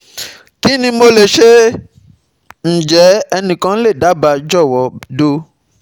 KINI MO LE SE? Njẹ ẹnikan le daba jọwọ do